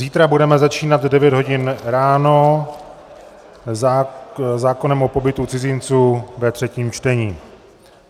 Zítra budeme začínat v 9 hodin ráno zákonem o pobytu cizinců ve třetím čtení.